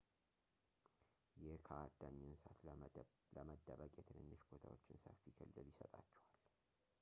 ይህ ከአዳኝ እንስሳት ለመደበቅ የትንንሽ ቦታዎች ሰፊ ክልል ይሰጣቸዋል